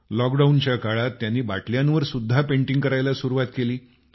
lock डाऊनच्या काळात त्यांनी बाटल्यांवर सुद्धा पेंटिंग करायला सुरुवात केली